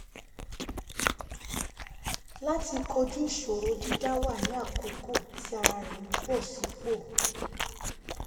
láti kojú ìṣòro dídá wà ní àkókò tí ara rẹ̀ ń bọ̀ sí pò